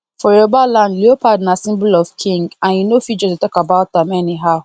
for yoruba land leopard na symbol of king and you no fit just dey talk about am anyhow